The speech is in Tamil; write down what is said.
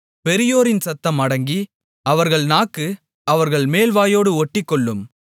பெரியோரின் சத்தம் அடங்கி அவர்கள் நாக்கு அவர்கள் மேல்வாயோடு ஒட்டிக்கொள்ளும்